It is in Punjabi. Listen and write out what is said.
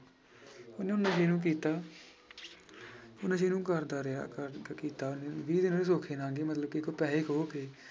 ਉਹਨੇ ਉਹ ਨਸ਼ੇ ਨੀ ਕੀਤਾ ਨਸ਼ੇ ਨੂੰ ਕਰਦਾ ਰਿਹਾ ਕਰ ਕ~ ਕੀਤਾ ਵੀਹ ਦਿਨ ਉਹਦੇ ਸੌਖੇ ਲੰਘ ਗਏ ਮਤਲਬ ਕਿ ਪੈਸੇ ਖੋਹ ਕੇ